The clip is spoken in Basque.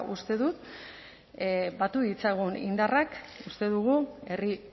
uste dut batu ditzagun indarrak uste dugu herri